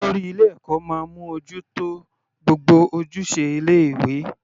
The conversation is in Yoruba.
Olórí ilé ẹ̀kọ́ máa mú ojú tó gbogbo ojúṣe ilé ìwé.